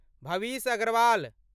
भविष Agrawal